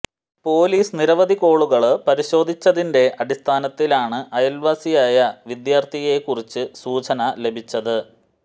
police നിരവധി കോളുകള് പരിശോധിച്ചതിന്റെ അടിസ്ഥാനത്തിലാണ് അയല്വാസിയായ വിദ്യാര്ഥിയെക്കുറിച്ചു സൂചന ലഭിച്ചത്